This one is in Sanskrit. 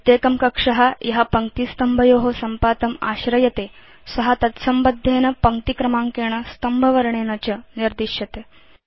प्रत्येकं कक्ष य पङ्क्तिस्तम्भयो सम्पातम् आश्रयते स तत्संबद्धेन पङ्क्तिक्रमाङ्केण स्तम्भवर्णेन च निर्दिश्यते